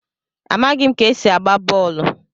Amaghim ka esi agba bọọlụ.